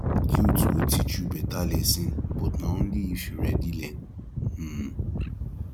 guilt go teach you better lesson but na only if you ready learn um